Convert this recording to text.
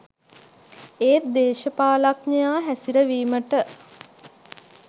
ඒත් දේශපාලනඥයා හැසිරවීමට